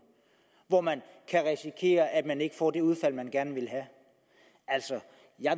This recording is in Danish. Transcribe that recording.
hvor man kan risikere at man ikke får det udfald man gerne vil have altså